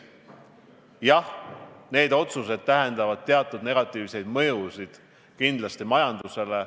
Jah, need otsused tähendavad teatud negatiivseid mõjusid, kindlasti majandusele.